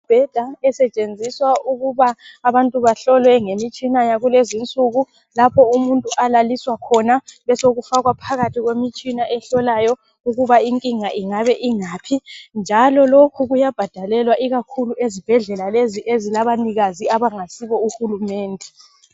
Imbheda esetshenziswa ukuba abantu bahlolwe ngemitshina yakulezinsuku, lapho umuntu alaliswa khona, besokufakwa phakathi kwemitshina ehlolayo, ukuba inkinga ingabe ingaphi njalo lokhu kuyabhadalelwa ikakhulu ezibhedlela lezi ezilabanikazi abangasibo uhulumende.